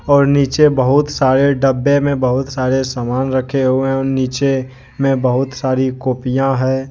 और नीचे बहुत सारे डब्बे में बहुत सारे सामान रखे हुए हैं और नीचे में बहुत सारी कॉपियां है।